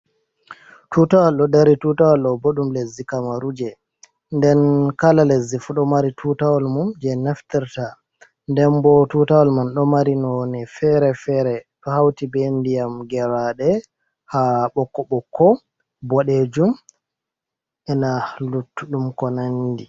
Tutawol ɗo ɗari. Tutawol ɗobo ɗum lesɗi kamaruje. nɗen kala lesɗi fu ɗo mari tutawol mum je naftarta. Ɗen bo tutawol man ɗo mari none fere-fere. Ɗo hauti be nɗiyam geraɗe ha bokko bokko boɗejum. Ena luttuɗum ko nanɗi.